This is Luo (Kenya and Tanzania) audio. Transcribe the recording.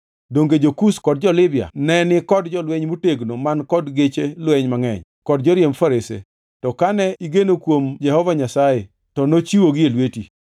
Donge jo-Kush kod jo-Libya ne ni kod jolweny motegno man kod geche lweny mangʼeny kod joriemb farese? To kane igeno kuom Jehova Nyasaye, to nochiwogi e lweti.